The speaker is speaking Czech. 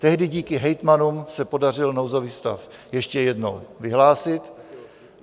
Tehdy díky hejtmanům se podařilo nouzový stav ještě jednou vyhlásit.